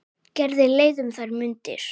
Gerði leið um þær mundir.